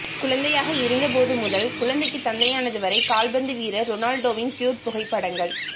குழந்தையாக இருந்தபோது முதல் குழந்தைக்கு தந்தையானது வரை கால்பந்து வீரர் ரொனால்டோவின் க்யூட் புகைப்படங்கள்